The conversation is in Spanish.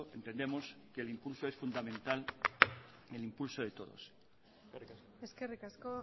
entendemos que el impulso es fundamental en impulso de todos eskerrik asko